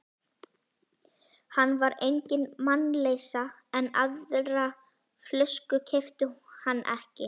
Hann var engin mannleysa, en aðra flösku keypti hann ekki.